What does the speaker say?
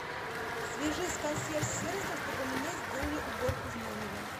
свяжись с консьерж сервисом чтобы мне сделали уборку в номере